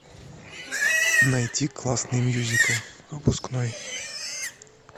найти классный мюзикл выпускной